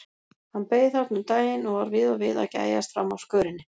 Hann beið þarna um daginn og var við og við að gægjast fram af skörinni.